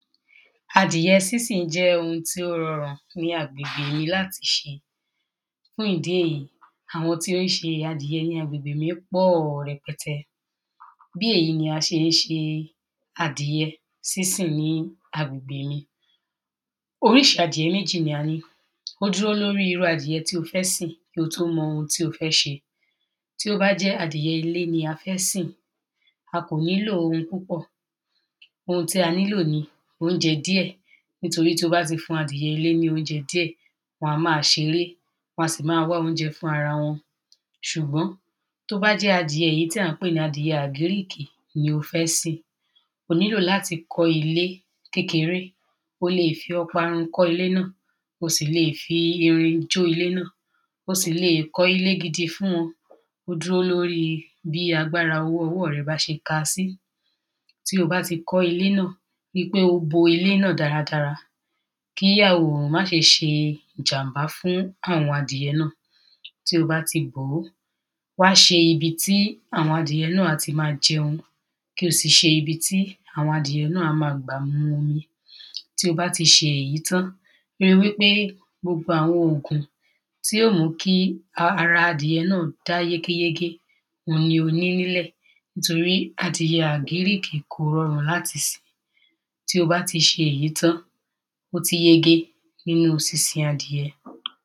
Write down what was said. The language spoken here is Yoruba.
adìye sínsìn jẹ́ ohun tí ó rọrùn ní agbègbè yìí láti ṣeadìye sínsìn jẹ́ ohun tí ó rọrùn ní agbègbè yìí láti ṣe fún ìdí èyí, àwọn tí o ṣe adìyẹ ní agbègbè mí pọ̀ rẹpẹtẹ bí èyí ni a ṣe ń ṣe adìyẹ sínsìn ní agbègbè mi oríṣi adìyẹ méjì ni a ní ó dúro lóri irú adìyẹ tó o fẹ́ sìn kí o tó mọ ohun tí o fẹ́ ṣe tí ó bá jẹ́ adìyẹ ilé ni a fẹ́ sìn a kò ní lo ohun púpọ̀ ohun tí a nílò ni óúnjẹ díẹ̀ nítorí tí a bá ti fún adìyẹ ilé ní óúnjẹ díẹ̀ wọ́n a máa ṣeré, wọn a sì máa wá óúnjẹ fún ara wọn ṣùgbọ́n tí ó bá jẹ́ adìyẹ èyí tí a pè ni agric ni o fẹ́ sìn o nílò láti kọ́ ilé kékeré o lè fi ọparun kọ́ ilé náà, o sì lè fi irin jó ilé náà, o sì lè kọ́ ilé gidi fún wọn ó dúró lóri bí agbára owó ọwọ́ rẹ́ bá ti káa sí tí o bá ti kọ́ ilé náà ríi pé o bo ilé náà dáradára kí arùn má ṣe ṣe ìjàm̀bá fún àwọn adìyẹ náà tí o bá ti bòó, wá ṣe ibi tí àwọn adìyẹ náà á ti máa jẹún kí o sì ṣe ibi tí àwọn adìyẹ náà á máa gbà mu omi tí o bá ti ṣe èyí tán ríi wípé gbogbo àwọn ogùn tí yóò mú kí ara adìyẹ náà dá yégé yégé ni o ní nílẹ̀ torí adìyẹ agric kò rọrùn láti sìn, tí o bá ti ṣe èyí tán ó ti yege nínu sínsin adìyẹ